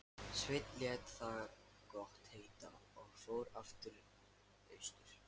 Sveinn lét það gott heita og fór aftur austur.